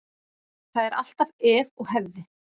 Það er alltaf ef og hefði.